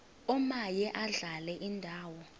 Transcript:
omaye adlale indawo